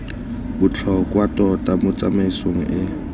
botlhokwa tota mo tsamaisong e